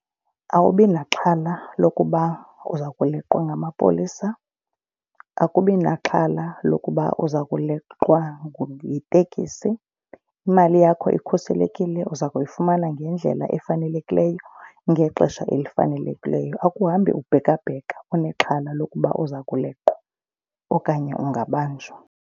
Awubi naxhala lokuba uza kuleqwa ngamapolisa, akubi naxhala lokuba uza kuleqwa yiteksi. Imali yakho ikhuselekile, uza kuyifumana ngendlela efanelekileyo ngexesha elifanelekileyo. Akuhambi ubhekabheka unexhala lokuba uza kuleqwa okanye ungabanjwa.